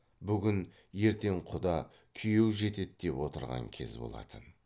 бүгін ертең құда күйеу жетеді деп отырған кез болатын